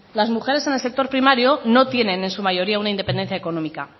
las mujeres en el sector primario no tienen en su mayoría una independencia económica